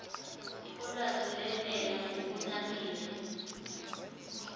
olwazi lwentela ngokunabile